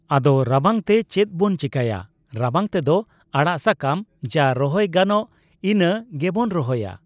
ᱟᱫᱚ ᱨᱟᱵᱟᱝᱛᱮ ᱪᱮᱫ ᱵᱚᱱ ᱪᱤᱠᱟᱹᱭᱟ ᱨᱟᱵᱟᱝ ᱛᱮᱫᱚ ᱟᱲᱟᱜ ᱥᱟᱠᱟᱢ ᱡᱟ ᱨᱚᱦᱚᱭ ᱜᱟᱱᱚᱜ ᱤᱱᱟᱹ ᱜᱮᱵᱚᱱ ᱨᱚᱦᱚᱭᱟ ᱾